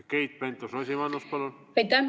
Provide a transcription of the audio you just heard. Keit Pentus-Rosimannus, palun!